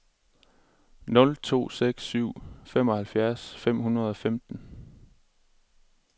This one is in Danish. nul to seks syv femoghalvfjerds fem hundrede og femten